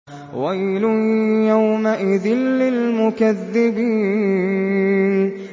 وَيْلٌ يَوْمَئِذٍ لِّلْمُكَذِّبِينَ